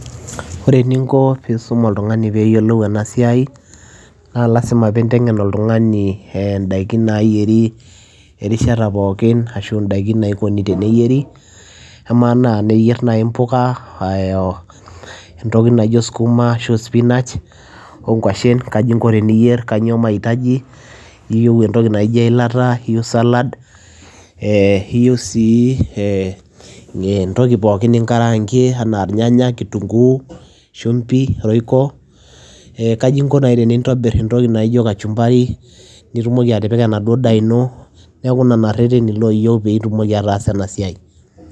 Ore eninko piisum oltung'ani peeyiolou ena siai naa lazima piinteng'en oltung'ani ee ndaikin naayieri, erishata pookin ashu ndaikin naikuni teneyieri, amaa naa eniyier nai mpuka ee oo entoki naijo skuma, ashu spinach, oo nkuashen, kaji inko eniyier, kanyoo mahitaji, iyiu entoki naijo eilata, iyiu salad, ee iyiu sii ee entoki pookin ninkraankie anaa irnyanya, kitung'uu, shumbi, royco. Ee kaji inko nai tenintobir entoki naijo kachumbari nitumoki atipika enaduo daa ino, neeku nena rereni naa iyeu piitumoki ataasa ena siai.